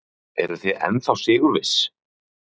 Ellý: Eruð þið ennþá sigurviss?